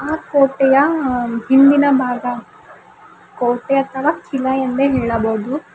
ಇದು ಕೋಟೆಯ ಹಿಂದಿನ ಭಾಗ ಕೋಟೆ ಅಥವಾ ಕಿಲ ಎಂದೇ ಹೇಳಬಹುದು.